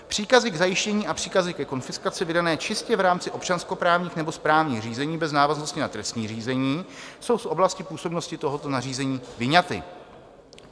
Příkazy k zajištění a příkazy ke konfiskaci vydané čistě v rámci občanskoprávních nebo správních řízení bez návaznosti na trestní řízení jsou z oblasti působnosti tohoto nařízení vyňaty.